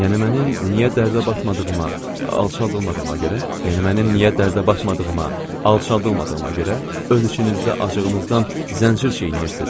Yəni mənim niyə dərdə batmadığıma, alçaldıldığıma görə, yəni mənim niyə dərdə batmadığıma, alçaldıldığıma görə, öz içinizdə acığınızdan zəncir çeynəyirsiz?